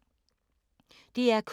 DR K